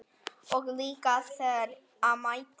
Og líka þegar á mæddi.